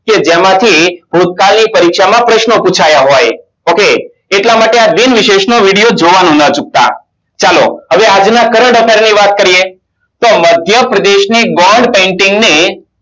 કે જેમાંથી પરીક્ષામાં પ્રશ્ન પૂછ્યા હોય તો કે એટલા માટે આ દિનવિશેષનો વિડીયો જોવાનું ના ચુકતા ચાલો હવે આજના ની વાત કરીયે તો મધ્યપ્રદેશની board painting ને